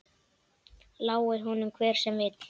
Lái honum hver sem vill.